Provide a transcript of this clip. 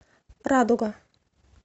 радуга